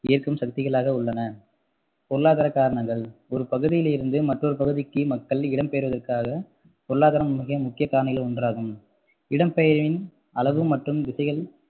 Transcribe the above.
ஈர்க்கும் சக்திகளாக உள்ளன பொருளாதார காரணங்கள் ஒரு பகுதியில் இருந்து மற்றொரு பகுதிக்கு மக்கள் இடம்பெயற்வதற்காக பொருளாதாரம் முக்கிய காரணிகளில் ஒன்றாகும் இடம்பெயர்வின் அளவு மற்றும் திசைகள்